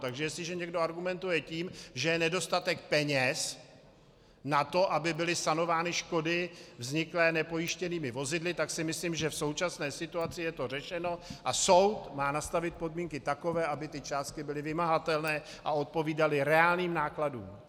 Takže jestliže někdo argumentuje tím, že je nedostatek peněz na to, aby byly sanovány škody vzniklé nepojištěnými vozidly, tak si myslím, že v současné situaci je to řešeno a soud má nastavit podmínky takové, aby ty částky byly vymahatelné a odpovídaly reálným nákladům.